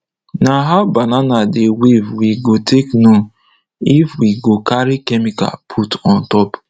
nah how banana dey wave we go take know if we go carry chemical put on top